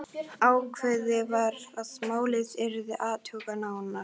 Ákveðið var að málið yrði athugað nánar.